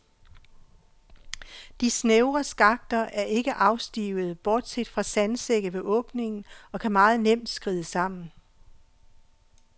De snævre skakter er ikke afstivede, bortset fra sandsække ved åbningen, og kan meget nemt skride sammen.